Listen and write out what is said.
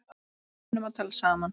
Við kunnum að tala saman.